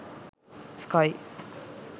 sky